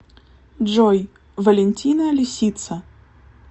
джой валентина лисица